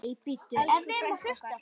Elsku frænka okkar.